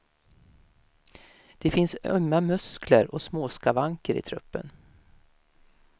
Det finns ömma muskler och småskavanker i truppen.